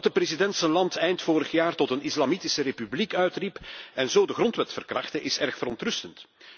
Dat de president zijn land eind vorig jaar tot een islamitische republiek uitriep en zo de grondwet verkrachtte, is erg verontrustend.